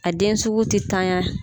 A den sugu tɛ tanyan.